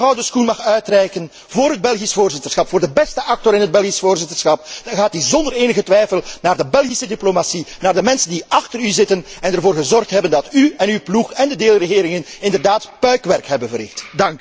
Als ik de gouden schoen mag uitreiken voor het Belgisch voorzitterschap, voor de beste actor in het Belgisch voorzitterschap, dan gaat deze zonder enige twijfel naar de Belgische diplomatie, naar de mensen die achter u zitten en ervoor gezorgd hebben dat u en uw ploeg en de deelregeringen inderdaad puik werk hebben verricht.